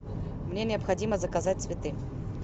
мне необходимо заказать цветы